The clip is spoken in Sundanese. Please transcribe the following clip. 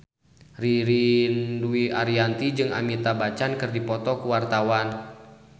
Ririn Dwi Ariyanti jeung Amitabh Bachchan keur dipoto ku wartawan